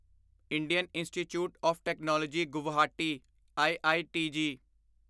Indian institute of technology Guwahati IITG